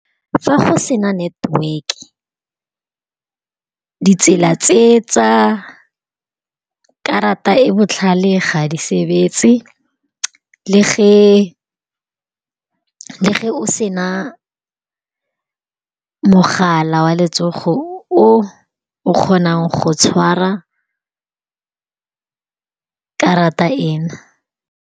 Fa go sena network-e ditsela tse tsa karata e botlhale ga di sebetse, le ge o sena mogala wa letsogo o o kgonang go tshwara karata ena.